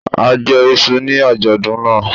A jẹ iṣu ní àjọ̀dún náà.